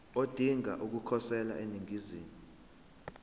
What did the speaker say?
odinga ukukhosela eningizimu